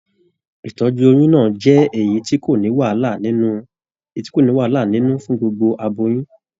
Ìtọjú oyún náà jẹ èyí tí kò ní wàhálà nínú fún gbogbo aboyún.